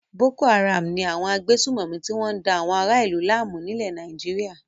Boko-Haram ni àwọn agbésùnmòmí tí wọ́n da àwọn ará-ìlú láàmú nílẹ̀ Nàìjíríà.